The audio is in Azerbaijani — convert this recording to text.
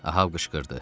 Ahab qışqırdı.